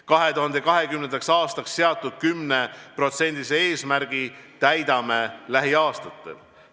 2020. aastaks seatud 10% eesmärgi täidame lähiaastatel.